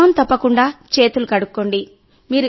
క్రమం తప్పకుండా చేతులు కడుక్కోండి